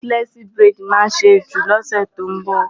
Nọ́tílẹ́ẹ̀sì buredì ni a máa ṣe jù lọ́sè tó ń bọ̀.